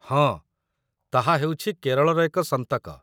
ହଁ, ତାହା ହେଉଛି କେରଳର ଏକ ସନ୍ତକ